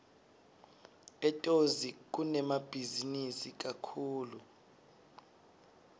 etozi kunemabhizinisi kakhulu